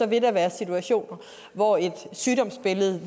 vil der være situationer hvor et sygdomsbillede